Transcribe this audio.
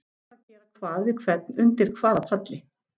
Hver var að gera hvað við hvern, undir hvaða palli.